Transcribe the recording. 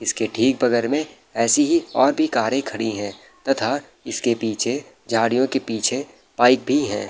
इसके ठीक बगल में ऐसे ही और भी कारे खड़ी है तथा इसके पीछे झाड़ियो के पीछे पाइप भी है।